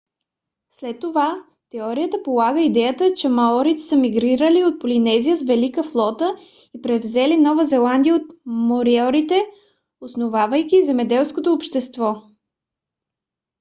след това теорията полага идеята че маорите са мигрирали от полинезия с велика флота и превзели нова зеландия от мориорите основавайки земеделско общество